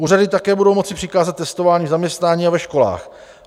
Úřady také budou moci přikázat testování v zaměstnání a ve školách.